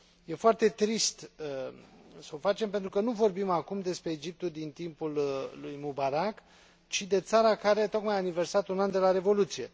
E foarte trist s o facem, pentru că nu vorbim acum despre Egiptul din timpul lui Mubarack, ci de țara care tocmai a aniversat un an de la revoluție.